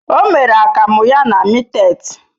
O mere akamu ya na mittet.